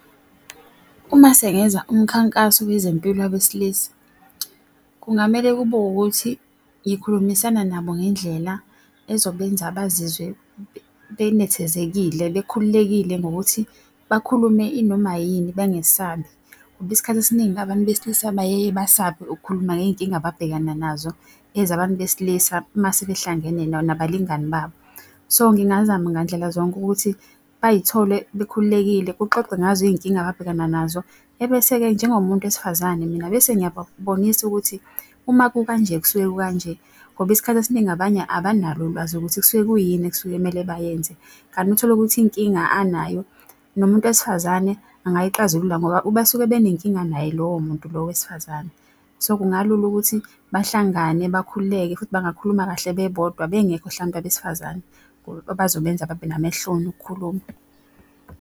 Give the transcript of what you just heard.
Uma sengeza umkhankaso wezempilo wabesilisa, kungamele kube ukuthi ngikhulumisana nabo ngendlela ezobenza bazizwe benethezekile, bekhululekile ngokuthi bakhulume inoma yini bengasababi. Ngoba isikhathi esiningi abantu besilisa bayeye basabe ukukhuluma ngey'nkinga ababhekana nazo ezabantu besilisa mase behlangene nabalingani babo. So ngingazama ngandlela zonke ukuthi bayithole bekhululekile kuxoxwe ngazo iy'nkinga ababhekana nazo, ebese-ke njengomuntu wesifazane mina bese ngiyababonisa ukuthi uma kukanje kusuke kukanje. Ngoba isikhathi esiningi abanye abanalo ulwazi ukuthi kusuke kuyini ekusuke kumele bayenze. Kanti utholukuthi inkinga anayo nomuntu wesifazane angayixazulula ngoba basuke benenkinga naye lowo muntu lo wesifazane. So kungalula ukuthi bahlangane bakhululeke futhi bangakhuluma kahle bebodwa bengekho hlampe abesifazane, abazobenza babe namahloni ukukhuluma.